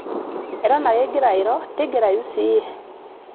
eton ake ingira oiro tigirayu siiyie